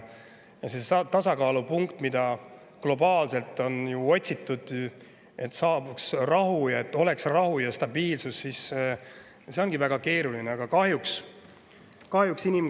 Seda tasakaalupunkti, mida globaalselt on otsitud, et saabuks rahu ja oleks stabiilsus, ongi väga keeruline.